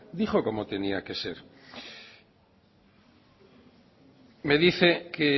dijo cómo tenía que ser me dice que